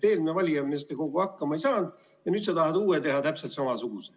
Eelmine valijameeste kogu hakkama ei saanud ja nüüd sa tahad uue teha täpselt samasuguse.